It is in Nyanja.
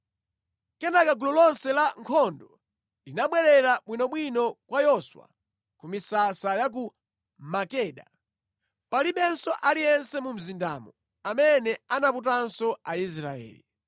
Kenaka gulu lonse la ankhondo linabwerera bwinobwino kwa Yoswa ku misasa ya ku Makeda, palibe aliyense mu mzindamo amene anaputanso Aisraeli.